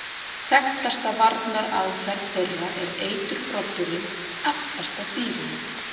Þekktasta varnaraðferð þeirra er eiturbroddurinn aftast á dýrinu.